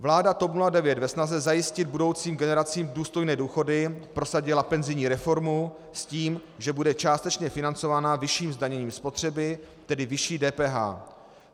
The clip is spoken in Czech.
Vláda TOP 09 ve snaze zajistit budoucím generacím důstojné důchody prosadila penzijní reformu s tím, že bude částečně financovaná vyšším zdaněním spotřeby, tedy vyšší DPH.